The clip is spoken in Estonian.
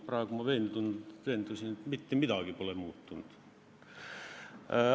Praegu ma veendusin, et mitte midagi pole muutunud.